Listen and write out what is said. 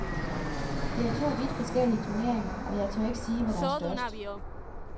Det er to vidt forskellige turneringer, og jeg tør ikke sige, hvad der er størst.